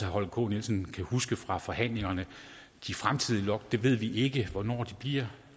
holger k nielsen kan huske fra forhandlingerne at de fremtidige lot ved vi ikke hvornår bliver